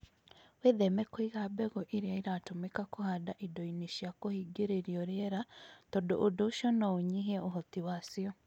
Wĩtheme kũiga mbegũ iria iratũmĩka kũhanda indo-inĩ cia kũhingĩrĩrio rĩera tondũ ũndũ ũcio no ũnyihie ũhoti wacio.